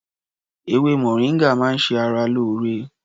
Ewé moringa máa ń ṣe ara lóore